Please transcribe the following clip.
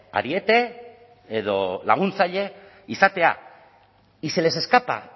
ariete edo laguntzaile izatea y se les escapa